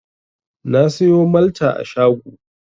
Na sayo Malta a shago.